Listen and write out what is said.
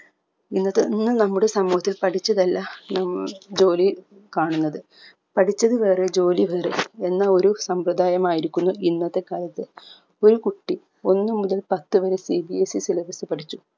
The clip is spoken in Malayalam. ഇന്നത്തെ ഇന്ന് നമ്മുടെ സമൂഹത്തിൽ പഠിച്ചതല്ല നം ജോലി കാണുന്നത് പഠിച്ചത് വേറെ ജോലി വേറെ എന്ന ഒരു സമ്പ്രദയമായിരിക്കുന്നു ഇന്നത്തെ കാലത്ത് ഒരു കുട്ടി ഒന്ന് മുതൽ പത്ത് വരെ CBSE syllabus പഠിച്ചു